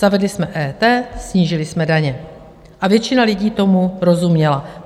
Zavedli jsme EET, snížili jsme daně a většina lidí tomu rozuměla.